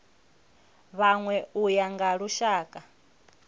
vhanwe u ya nga lushaka